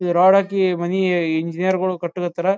ಈ ರಾಡ್ ಹಾಕಿ ಮನಿಯ ಎಂಜಿನಿಯರ್ ಗೋಳು ಕಟ್ಟುಕತಾರ.